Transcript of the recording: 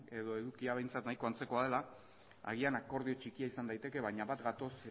edo edukia behintzat nahiko antzekoa dela agian akordio txikia izan daiteke baina bat gatoz